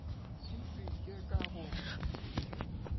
ke se ke ka go